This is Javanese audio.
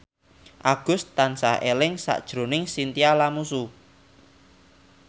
Agus tansah eling sakjroning Chintya Lamusu